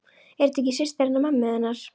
Er þetta ekki systir hennar mömmu þinnar?